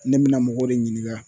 Ne bɛ na mɔgɔw de ɲininka